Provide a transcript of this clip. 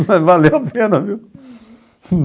Mas valeu a pena, viu?